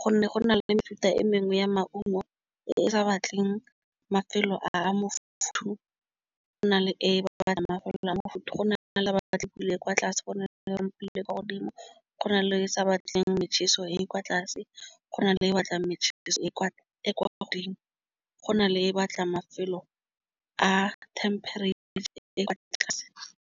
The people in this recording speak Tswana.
Go na le mefuta e mengwe ya maungo e e sa batleng mafelo a mafuthu. Go na le e batla mafelelong bofuthu go nagana le ba ba tlile kwa tlase go na le pele kwa godimo go na le sa batleng motjheso e e kwa tlase go na le e batlang motjheso e e kwa godimo. Go na le e batlang mafelo a temperature e kwa tlase.